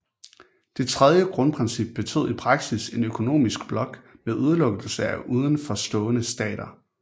Det tredje grundprincip betød i praksis en økonomisk blok med udelukkelse af uden for stående stater